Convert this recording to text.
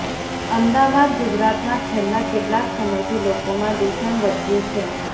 અમદાવાદઃ ગુજરાતમાં છેલ્લા કેટલાક સમયથી લોકોમાં દુષણ વધ્યું છે